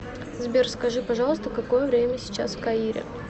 сбер скажи пожалуйста какое время сейчас в каире